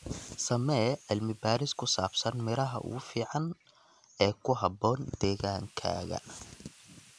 Samee cilmi baaris ku saabsan miraha ugu fiican ee ku habboon deegaankaaga.